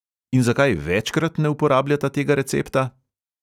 In zakaj večkrat ne uporabljata tega recepta?